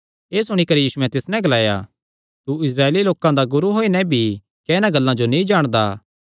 एह़ सुणी करी यीशुयैं तिस नैं ग्लाया तू इस्राएली लोकां दा गुरू होई नैं भी क्या इन्हां गल्लां जो नीं जाणदा